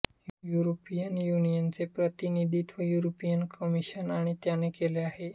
European युनियनचे प्रतिनिधित्व European Commission आणि याने केले आहे